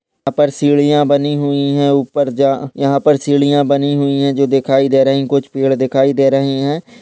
यहा पर सीढ़िया बनी हुई है ऊपर जा यहा पर सीढ़िया बनी हुई है जो दिखाई दे रही कुछ पेड़ दिखाई दे रहे है।